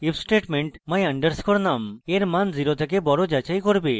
if statement my _ num এর মান 0 এর থেকে বড় যাচাই করবে